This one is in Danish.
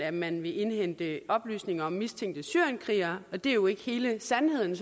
at man vil indhente oplysninger om mistænkte syrienskrigere men det er jo ikke hele sandheden